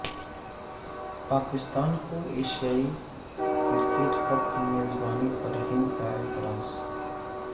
پاکستان کو Asia cricket cup کی میزبانی پر ہند کا اعتراض